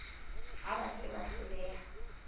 ha ba se ba hloleha